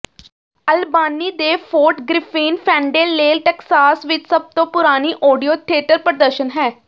ਅਲਬਾਨੀ ਦੇ Fort Griffin Fandangle Texas ਵਿਚ ਸਭ ਤੋਂ ਪੁਰਾਣੀ ਆਡੀਓ ਥੀਏਟਰ ਪ੍ਰਦਰਸ਼ਨ ਹੈ